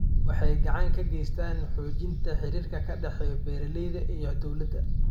Waxay gacan ka geystaan ??xoojinta xiriirka ka dhexeeya beeralayda iyo dawladda.